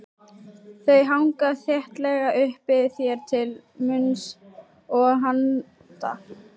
Þau hanga þéttlega uppi þér til munns og handa.